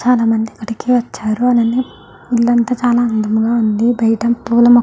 చాలా మంది గుడికి వచ్చారు. అలాగే ఇల్లంతా చాలా అందంగా ఉంది. బయట పూల --